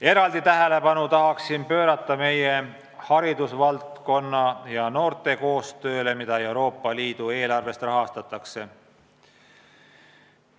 Eraldi tähelepanu tahan pöörata haridusvaldkonna ja üldse noorte koostööle, mida Euroopa Liidu eelarvest rahastatakse.